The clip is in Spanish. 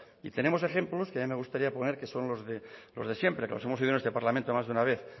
y tenemos ejemplos que a mí gustaría poner que son los de siempre que los hemos oído en este parlamento más de una vez